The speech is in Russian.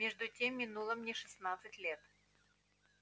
между тем минуло мне шестнадцать лет